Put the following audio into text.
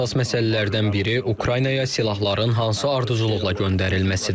Əsas məsələlərdən biri Ukraynaya silahların hansı ardıcıllıqla göndərilməsidir.